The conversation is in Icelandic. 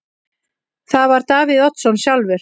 Það var Davíð Oddsson sjálfur.